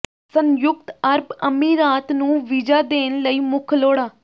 ਸੰਯੁਕਤ ਅਰਬ ਅਮੀਰਾਤ ਨੂੰ ਵੀਜ਼ਾ ਦੇਣ ਲਈ ਮੁੱਖ ਲੋੜਾਂ